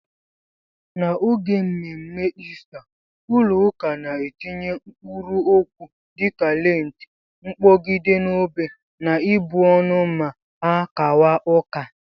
N'oge mme mme Ista ụlọ ụka na-etinye mkpụrụ okwu dịka lentị, mkpogide n'obé na ịbụ ọnụ ma ha kawa ụka.